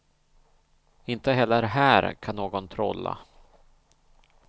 Inte heller här kan någon trolla.